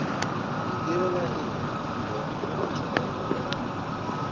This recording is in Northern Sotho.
ntirela eng bona batho bao